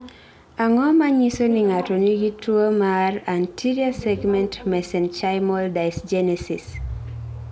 Ang�o ma nyiso ni ng�ato nigi tuo mar Anterior segment mesenchymal dysgenesis?